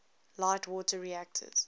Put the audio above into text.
light water reactors